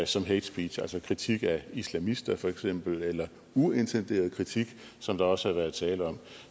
som hate speech altså kritik af islamister for eksempel eller uintenderet kritik som der også har været tale om